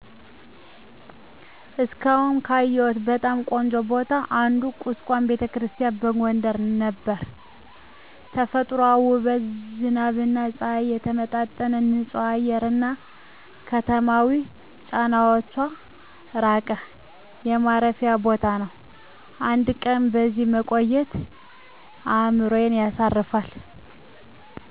እስካሁን ካየሁት በጣም ቆንጆ ቦታ አንዱ ቁስቋም ⛪ቤተክርስቲያን በጎንደር ነበር። ተፈጥሯዊ ውበት፣ ዝናብና ፀሐይ የተመጣጠነ ንፁህ አየር፣ እና ከተማዊ ጫናዎች ራቀ የማረፊያ ቦታ ነው። አንድ ቀን በዚያ መቆየት አእምሮን ያሳርፋል።